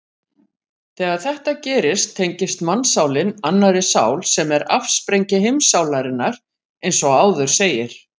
Þegar þetta gerist tengist mannssálin annarri sál sem er afsprengi heimssálarinnar eins og áður segir.